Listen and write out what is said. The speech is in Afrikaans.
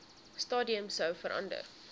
stadium sou verander